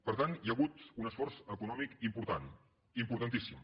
per tant hi ha hagut un esforç econòmic important importantíssim